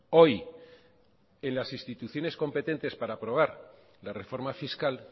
hoy en las instituciones competentes para aprobar la reforma fiscal